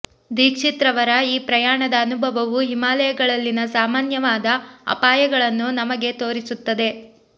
ದೀಕ್ಷಿತ್ರವರ ಈ ಪ್ರಯಾಣದ ಅನುಭವವು ಹಿಮಾಲಯಗಳಲ್ಲಿನ ಸಾಮನ್ಯವಾದ ಅಪಾಯಗಳನ್ನು ನಮಗೆ ತೋರಿಸುತ್ತದೆ